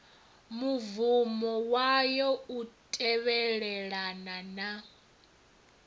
mubvumo wayo u tevhelelana na